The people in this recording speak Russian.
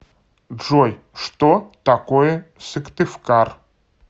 джой что такое сыктывкар